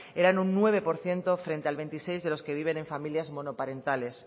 eran un nueve por ciento frente al veintiséis de los que viven en familias monoparentales